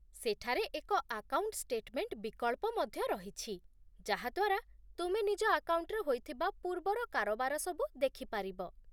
ସେଠାରେ ଏକ account statement ବିକଳ୍ପ ମଧ୍ୟ ରହିଛି, ଯାହା ଦ୍ୱାରା ତୁମେ ନିଜ ଆକାଉଣ୍ଟରେ ହୋଇଥିବା ପୂର୍ବର କାରବାର ସବୁ ଦେଖିପାରିବ